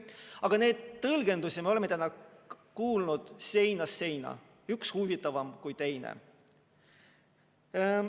Aga neid tõlgendusi me oleme täna kuulnud seinast seina, üks huvitavam kui teine.